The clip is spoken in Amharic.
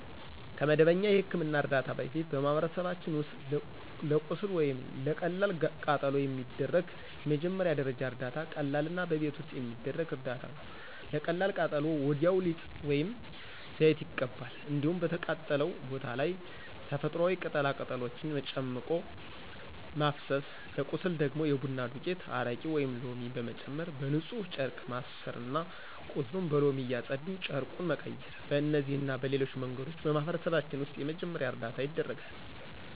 ከመደበኛ የሕክምና እርዳታ በፊት በማህበረሰባችን ውስጥ ለቁስል ወይም ለቀላል ቃጠሎ የሚደረግ የመጀመሪያ ደረጃ እርዳታ ቀላልና በቤት ውስጥ የሚደረግ እርዳታ ነው። ለቀላል ቃጠሎ ወዲያው ሊጥ ወይም ዘይት ይቀባል። እንዲሁም በተቃጠለው ቦታ ላይ ተፈጥሮአዊ ቅጠላ ቅጠሎችን ጨምቆ ማፍሰስ፤ ለቁስል ደግሞ የቡና ዱቄት፣ አረቄ ወይም ሎሚ በመጨመር በንፁህ ጨርቅ ማሠርና ቁስሉን በሎሚ እያፀዱ ጨርቁን መቀየር። በእነዚህና በሌሎች መንገዶች በማህበረሰባችን ውስጥ የመጀመሪያ እርዳታ ይደረጋል።